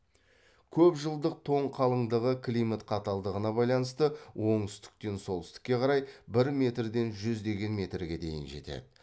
көпжылдық тоң қалыңдығы климат қаталдығына байланысты оңтүстіктен солтүстікке қарай бір метрден жүздеген метрге дейін жетеді